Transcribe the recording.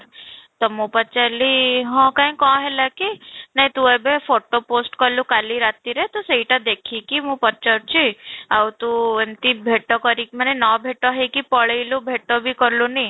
ତ ମୁଁ ପଚାରିଲି ହଁ କାଇଁ କଁ ହେଲା କି, ନାଇଁ ତୁ ଏବେ photo post କଲୁ କଲି ରାତିରେ ତ ସେଇଟା ଦେଖି କି ମୁଁ ପଚାରୁଛି, ଆଉ ତୁ ଭେଟ ନ ଭେଟ ହେଇକି ଭେଟ ବି କଲୁନି?